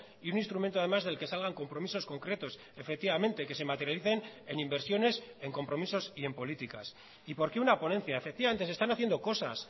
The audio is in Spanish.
y un instrumento además del que salgan compromisos concretos efectivamente que se materialicen en inversiones en compromisos y en políticas y por qué una ponencia efectivamente se están haciendo cosas